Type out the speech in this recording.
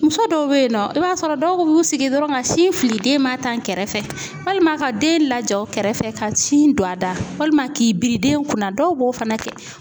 Muso dɔw be ye nɔ i b'a sɔrɔ dɔw b'u sigi dɔrɔn ka sin fili den ma tan kɛrɛfɛ walima ka den lajɔ u kɛrɛfɛ ka sin don a da walima k'i biri den kunna dɔw b'o fana kɛ.